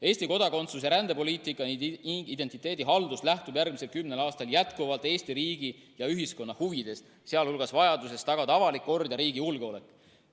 Eesti kodakondsus‑ ja rändepoliitika ning identiteedihaldus lähtuvad järgmisel kümnel aastal jätkuvalt Eesti riigi ja ühiskonna huvidest, sh vajadusest tagada avalik kord ja riigi julgeolek.